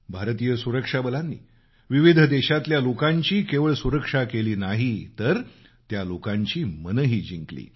भारतीय सुरक्षा बलानी विविध देशातल्या लोकांची केवळ सुरक्षा केली नाही तर त्या लोकांची मनंही जिंकली